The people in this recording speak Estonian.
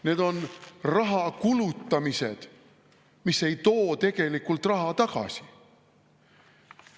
Need on rahakulutamised, mis ei too tegelikult raha tagasi.